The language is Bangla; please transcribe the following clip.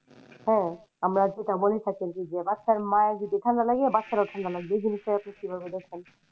হ্যাঁ আমরা তো তেমনি দেখেছি যে বাচ্চার মায়ের যদি ঠাণ্ডা লাগে বাচ্চার ও ঠাণ্ডা লাগবে এই জিনিস টা আপনি কীভাবে দেখেন?